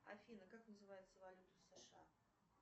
афина как называется валюта сша